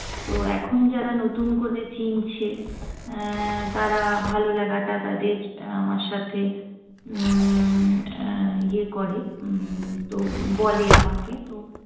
তো এখন যারা নতুন করে চিনছে, আহ তারা ভালো লাগাটা তাদের আমার সাথে উম ইয়ে করে। তো বলে আমাকে তো